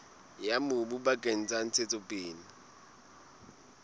ya mobu bakeng sa ntshetsopele